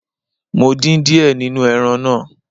Mo dín díẹ̀ nínú ẹran náà.